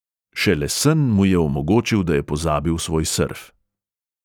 Šele sen mu je omogočil, da je pozabil svoj srf.